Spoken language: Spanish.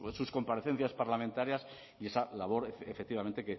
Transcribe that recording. sus comparecencias parlamentarias y esa labor efectivamente